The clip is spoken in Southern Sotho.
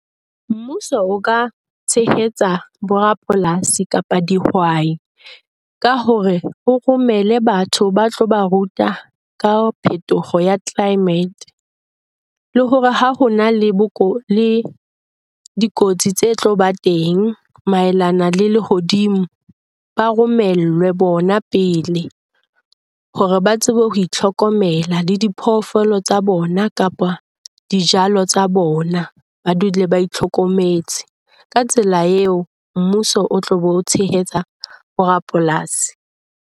Mmuso o ka tshehetsa borapolasi kapa dihwai, ka hore o romele batho ba tlo ba ruta ka phetoho ya climate. Le hore ha hona le le dikotsi tse tlo ba teng maelana le lehodimo, ba romellwe bona pele hore ba tsebe ho itlhokomela le diphoofolo tsa bona kapa dijalo tsa bona. Ba dule ba itlhokometse. Ka tsela eo mmuso o tlo bo o tshehetsa borapolasi.